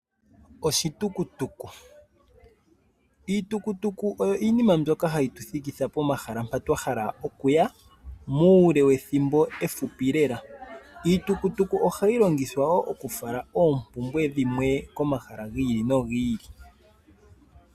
Iitukutuku oyo iinima mbyoka hayi tuthikitha pomahala mpa twahala okuya muule wethimbo ehupi lela. Ohayi longiyhwa wo oku fala wo oompumbwe dhimwe komahala giili.